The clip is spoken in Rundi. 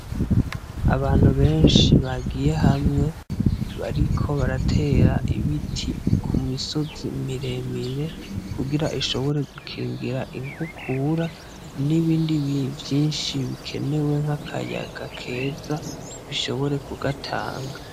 Abantu benshi bagiye hamwe bariko baratera ibiti Ku misozi miremire kugira ishobore gukingira inkukura n'ibindi vyinshi bikenewe nk'akayaga keza bishobore kugatanga.